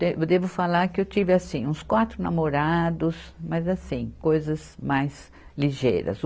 De, eu devo falar que eu tive assim, uns quatro namorados, mas assim, coisas mais ligeiras.